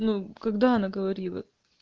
ну когда она говорила